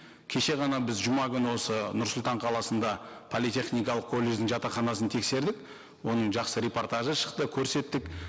кеше ғана біз жұма күні осы нұр сұлтан қаласында политехникалық колледждің жатақханасын тексердік оның жақсы репортажы шықты көрсеттік